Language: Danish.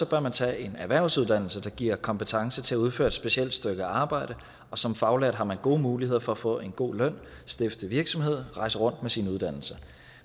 bør man tage en erhvervsuddannelse der giver kompetence til at udføre et specielt stykke arbejde og som faglært har man gode muligheder for at få en god løn stifte virksomhed rejse rundt med sin uddannelse